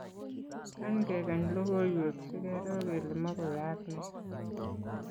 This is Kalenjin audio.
kany kekany lokoiwek sikeroo kele mokuyaak nee